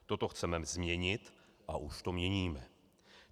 Toto chceme změnit a už to měním.